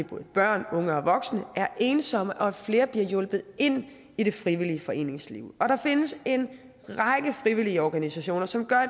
både børn og unge og voksne er ensomme og at flere bliver hjulpet ind i det frivillige foreningsliv der findes en række frivillige organisationer som gør